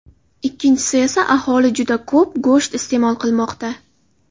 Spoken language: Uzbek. Ikkinchisi esa aholi juda ko‘p go‘sht iste’mol qilmoqda.